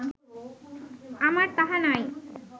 আমার তাহা নাই